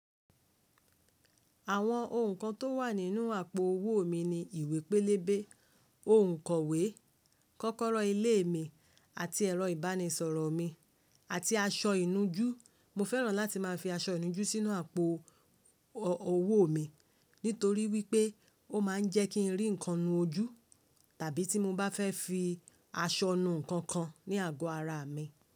Àwọn ohun kan tó wà nínú àpò owó mi ni ìwé pélébé, òǹkọ̀wé, kọ́kọ́rọ́ ilé mi àti ẹ̀rọ ìbánisọ̀rọ̀ mi àti aṣọ ìnujú. Mo fẹ́ràn láti máa fi aṣọ ìnujú sínú àpò owó mi nítorí wípé ó máa ń jẹ́ kí n rí ǹkan nù ojú tàbí tí mo bá fẹ́ fi aṣọ nu ǹkan kan ní àgọ́ ara mi.